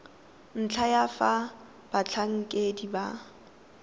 ntlha ya fa batlhankedi ba